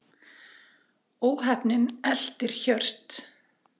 Óheppnin eltir Hjört